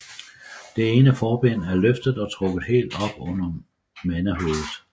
Det ene forben er løftet og trukket helt op under mandehovedet